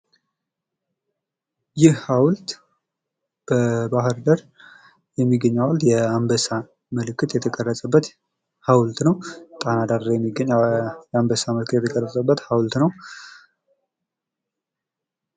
ይህ ሀውልት በባህርዳር የሚገኝ ሀውልት የአንበሳ ምልክት የተቀረጸበት ሀውልት ነው። ጣና ዳር የሚገኝ የአንበሳ ምልክት የተቀረጸ ነው።